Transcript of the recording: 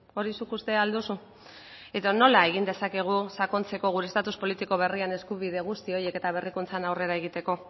hori zuk uste al duzu edo nola egin dezakegu sakontzeko gure estatus politiko berrian eskubide guzti horiek eta berrikuntzan aurrera egiteko